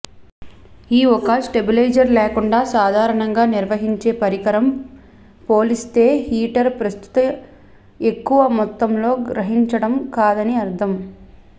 ఈ ఒక స్టెబిలైజర్ లేకుండా సాధారణంగా నిర్వహించే పరికరం పోలిస్తే హీటర్ ప్రస్తుత ఎక్కువ మొత్తంలో గ్రహించడం కాదని అర్థం